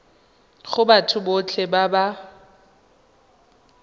go batho botlhe ba ba